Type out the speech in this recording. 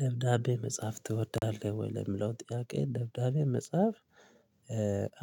ደብዳቤ መጽሐፍ ትወዳለህ ወይ ለምለው ጥያቄ ደብዳቤ መጽሐፍ?